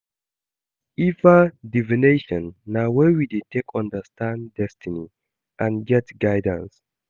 ifa divination na way we dey take understand destiny and get guidance